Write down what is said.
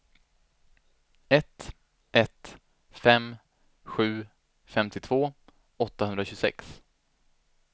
ett ett fem sju femtiotvå åttahundratjugosex